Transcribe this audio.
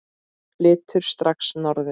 Flyturðu strax norður?